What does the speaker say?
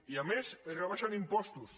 i a més rebaixen impostos